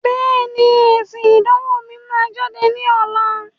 Bẹ́ẹ̀ni, èsìn ìdánwò mi máa jáde ní ọ̀la.